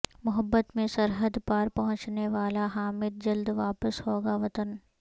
محبت میں سرحد پار پہنچنے والا حامد جلد واپس ہوگا وطن